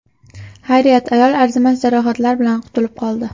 Xayriyat, ayol arzimas jarohatlar bilan qutulib qoldi.